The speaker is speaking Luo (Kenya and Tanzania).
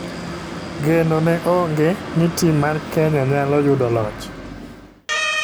Geno ne onge ni tim mar Kenya nyalo yudo loch.